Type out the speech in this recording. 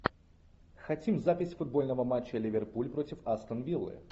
хотим запись футбольного матча ливерпуль против астон виллы